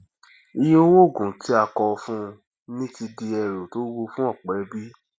iye owó òògùn tí a kọ fún ní ti di ẹrù tó wuwo fún ọpọ ẹbí